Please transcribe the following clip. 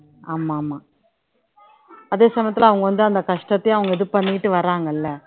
ஆமா ஆமா அதே சமயத்துல அவங்க வந்து அந்த கஷ்டத்தையும் அவங்க இது பண்ணிட்டு வர்றாங்கல்ல